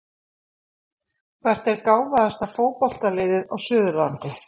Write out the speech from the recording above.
Hvert er gáfaðasta fótboltaliðið á Suðurlandi?